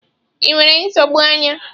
Ị nwere nsogbu anya?